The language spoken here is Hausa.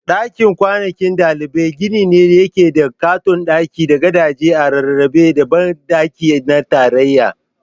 Dakin kwanan ɗalibai gini ne da yake da ƙaton daki da gadaje a rarrabe da banɗaki na tarayya.